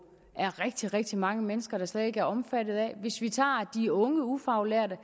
er rigtig rigtig mange mennesker der slet ikke er omfattet af hvis vi tager de unge ufaglærte